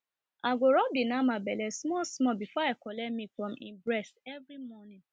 i go rub the nama belle small small before i collect milk from e breast every morning